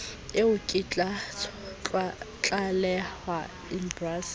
eo e ka tlalehwa embasing